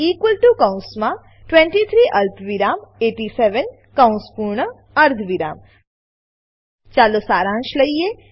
newArray કૌંસમાં 23 અલ્પવિરામ 87 કૌંસ પૂર્ણ અર્ધવિરામ ચાલો સારાંશ લઈએ